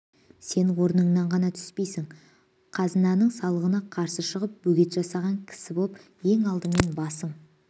сен орныңнан ғаңа түспейсің қазынаның салығына қарсы шығып бөгет жасаған кісі боп ең алдымен басың